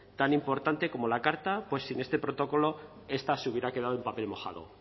tan importante como la carta pues sin este protocolo esta se hubiera quedado en papel mojado